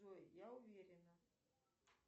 джой я уверена